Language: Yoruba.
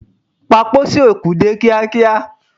Pa pósí òkú dé kíá kíá!